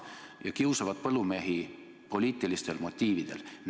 Nad kiusavad põllumehi poliitilistel motiividel.